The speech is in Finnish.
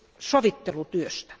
sovittelutyöstä.